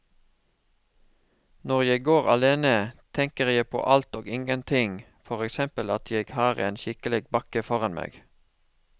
Når jeg går alene, tenker jeg på alt og ingenting, for eksempel at jeg har en skikkelig bakke foran meg.